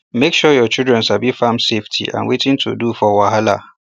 make sure your children sabi farm safety and wetin to do for wahala